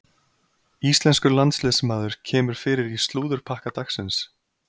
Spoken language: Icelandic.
Íslenskur landsliðsmaður kemur fyrir í slúðurpakka dagsins.